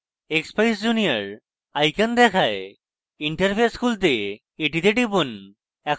expeyes junior icon দেখায় interface খুলতে এটিতে টিপুন